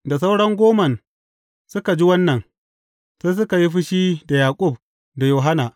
Da sauran goman suka ji wannan, sai suka yi fushi da Yaƙub da Yohanna.